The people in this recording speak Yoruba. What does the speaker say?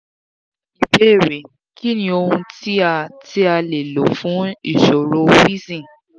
ìbéèrè: kí ni ohun ti a ti a le lo fun ìṣòro wheezing?